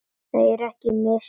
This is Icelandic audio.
Þau eru mislæg.